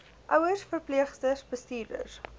ouers verpleegsters bestuurders